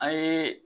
A ye